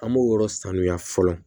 An b'o yɔrɔ sanuya fɔlɔ